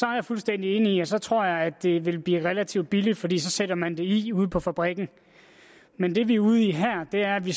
jeg fuldstændig enig og så tror jeg at det ville blive relativt billigt fordi så sætter man den i ude på fabrikken men det vi ude i her er at vi